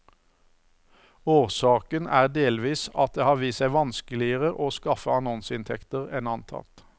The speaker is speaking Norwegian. Årsaken er delvis at det har vist seg vanskeligere å skaffe annonseinntekter enn antatt.